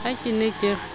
ha ke ne ke re